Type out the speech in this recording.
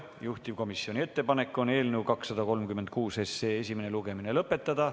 Juhtivkomisjoni ettepanek on eelnõu 236 esimene lugemine lõpetada.